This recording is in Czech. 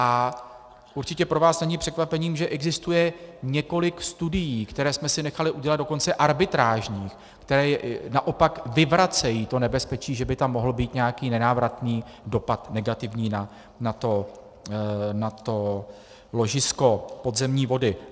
A určitě pro vás není překvapením, že existuje několik studií, které jsme si nechali udělat dokonce arbitrážních, které naopak vyvracejí to nebezpečí, že by tam mohl být nějaký nenávratný dopad negativní na to ložisko podzemní vody.